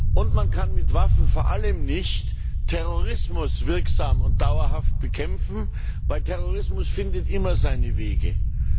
Und man kann mit Waffen vor allem nicht Terrorismus wirksam und dauerhaft bekämpften, weil Terrorismus immer seine Wege findet.